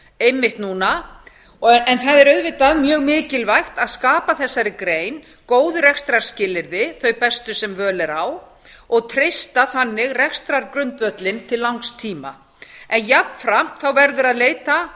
einmitt núna en það er auðvitað mjög mikilvægt að skapa þessari grein góð rekstrarskilyrði þau bestu sem völ er á og treysta þannig rekstrargrundvöllinn til langs tíma en jafnframt verður að leita